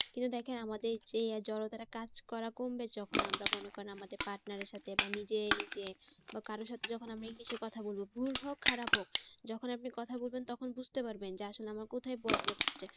কিন্তু দেখেন আমাদের যে জড়তাটা কাজ করা কমবে যখন আমরা মনে করেন আমাদের partner এর সাথে বা নিজে নিজে বা কারো সাথে যখন আমরা english এ কথা বলবো ভুল হোক খারাপ হোক যখন আপনি কথা বলবেন তখন বুঝতে পারবেন যে আসলে আমরা কোথায় problem হচ্ছে